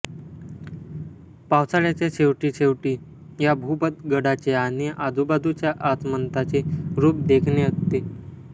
पावसाळ्याच्या शेवटी शेवटी या भूपतगडाचे आणि आजूबाजूच्या आसमंताचे रूप देखणे असते